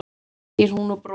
segir hún og bros